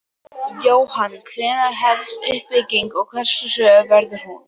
Jóhann: Hvenær hefst uppbyggingin og hversu hröð verður hún?